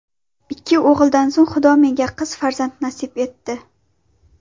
Ikki o‘g‘ildan so‘ng Xudo menga qiz farzand nasib etdi.